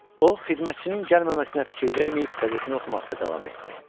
O xidmətçinin gəlməməsinə fikir verməyib qəzetini oxumaqda davam etdi.